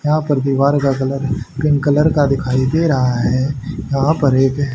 यहां पर दीवार का कलर पिंक कलर का दिखाई दे रहा है यहां पर एक--